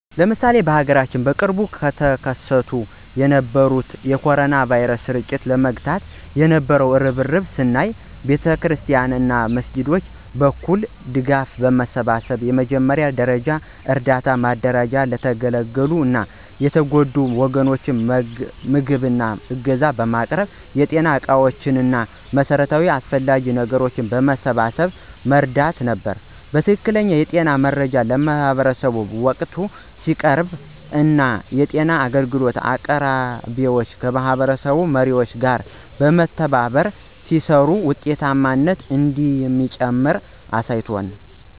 ለምሳሌ በሀገራችን በቅርቡ ተከስቶ የነበረውን የ ኮሮና ቫይረስ ስርጭት ለመግታት የነበው እርብርብን ስናይ በቤተክርስቲያናት እና መስጊዶች በኩል ድጋፍ በማሰባሰብ የመጀመሪያ ደረጃ እርዳታ ማደራጀት ለተገለሉ እና የተጎዱ ወገኖች ምግብ እና ዕገዛ ማቅረብ የጤና ዕቃዎች እና መሠረታዊ አስፈላጊ ነገሮችን በማሰባሰብ መርዳት ነበር። ትክክለኛ የጤና መረጃ ለማህበረሰቡ በወቅቱ ሲቀርብ እና የጤና አገልግሎት አቅራቢዎች ከማህበረሰብ መሪዎች ጋር በመተባበር ሲሰሩ ውጤታማነት እንደሚጨምር አሳይቷል።